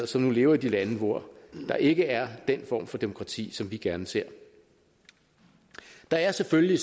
som nu lever i de lande hvor der ikke er den form for demokrati som vi gerne ser der er selvfølgelig